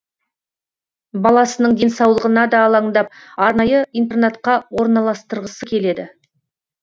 баласының денсаулығына да алаңдап арнайы интернатқа орналастырғысы келеді